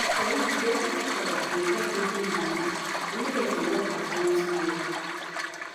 for real to respect each oda dey help wetin u belief and medicine work at once well